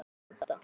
Kristín Edda.